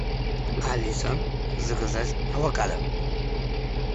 алиса заказать авокадо